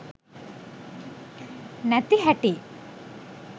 නැති හැටි.